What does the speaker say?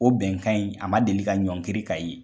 O bɛnkan in a ma deli ka ɲɔnkiri k'a ye.